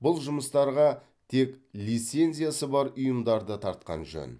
бұл жұмыстарға тек лицензиясы бар ұйымдарды тартқан жөн